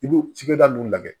I b'o cikɛda nunnu lagɛ